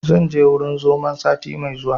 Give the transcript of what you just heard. Zan je wurin zomon sati mai zuwa